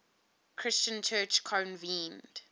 christian church convened